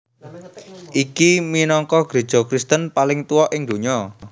Iki minangka greja Kristen paling tuwa ing donya